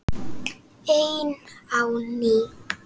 Ein á ný.